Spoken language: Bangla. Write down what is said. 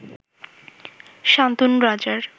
শান্তনু রাজার